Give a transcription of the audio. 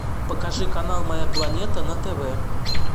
покажи канал моя планета на тв